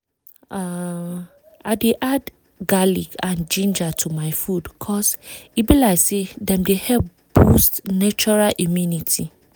umm i dey add garlic and ginger to my food cause e be like say dem dey help boost natural immunity